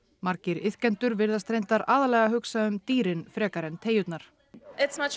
margir iðkendur virðast reyndar aðallega hugsa um dýrin frekar en teygjurnar